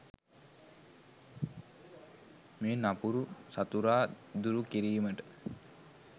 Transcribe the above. මේ නපුරු සතුරා දුරු කිරීමට